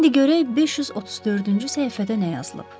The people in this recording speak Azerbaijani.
İndi görək 534-cü səhifədə nə yazılıb?